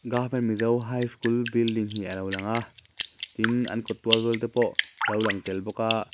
govtment mizo high school building hi a lo lang a tin an kawt zawl te pawh lo lang tel bawk a.